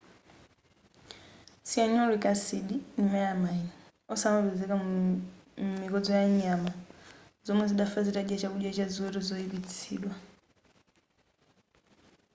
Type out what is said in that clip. cyanuric acid ndi melamine onse anapezeka mu mikodzo yanyama zomwe zidafa zitadya chakudya cha ziweto choyipitsidwa